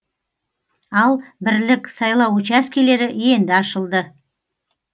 ал бірлік сайлау учаскелері енді ашылды